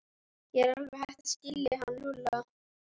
Ég er alveg hætt að skilja hann Lúlla.